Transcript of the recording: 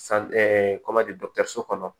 dɔkitɛriso kɔnɔ